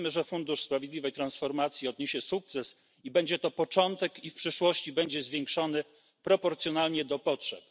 Wierzymy, że fundusz sprawiedliwej transformacji odniesie sukces i będzie to tylko początek, natomiast w przyszłości środki zostaną zwiększone proporcjonalnie do potrzeb.